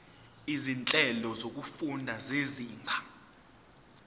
izinhlelo zokufunda zezinga